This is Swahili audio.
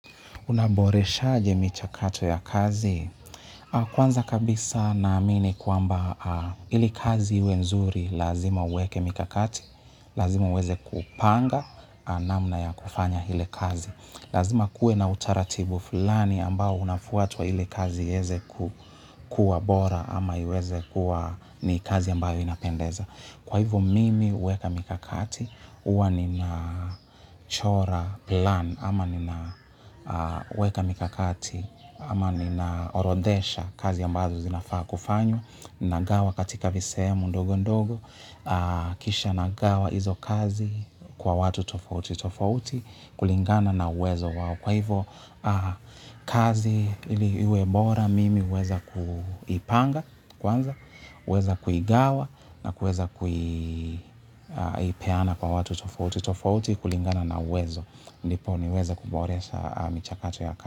Unaboreshaje michakato ya kazi. Kwanza kabisa naamini kwamba ili kazi iwe nzuri lazima uweke mikakati, lazima uweze kupanga namna ya kufanya ile kazi. Lazima kuwe na utaratibu fulani ambao unafuatwa ili kazi iweze kuwa bora ama iweze kuwa ni kazi ambayo inapendeza. Kwa hivo mimi huweka mikakati huwa ninachora plan ama ninaweka mikakati ama ninaorodhesha kazi ambazo zinafaa kufanywa. Nagawa katika visehemu ndogo ndogo kisha nagawa hizo kazi kwa watu tofauti tofauti kulingana na uwezo wao. Kwa hivyo kazi ili iwe bora mimi huweza kuipanga kwanza, huweza kuigawa na kuweza kuipeana kwa watu tofauti tofauti kulingana na uwezo, ndipo niweze kuboresha michakato ya kazi.